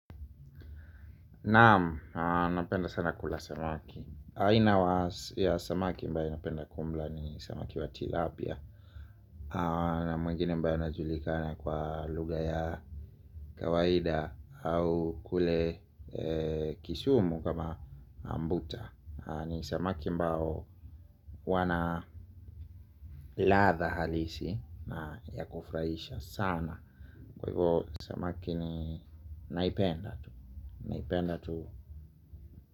Naam, napenda sana kula samaki, aina ya samaki ambayo napenda kumla ni samaki wa tilapia. Na mwingine ambaye anajulikana kwa lugha ya kawaida au kule Kisumu kama ambuta. Ni samaki ambao wana ladha halisi na ya kufurahisha sana. Kwa hivyo samaki ni naipenda tu. Naipenda tu.